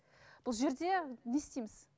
бұл жерде не істейміз